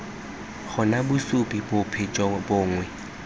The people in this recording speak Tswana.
gona bosupi bope jo bongwe